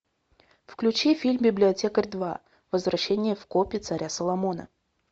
включи фильм библиотекарь два возвращение в копи царя соломона